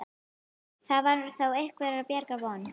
Þar var þó einhverrar bjargar von.